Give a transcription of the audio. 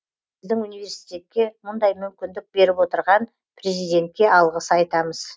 біздің университетке мұндай мүмкіндік беріп отырған президентке алғыс айтамыз